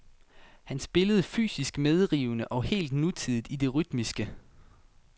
Han spillede fysisk medrivende og helt nutidigt i det rytmiske.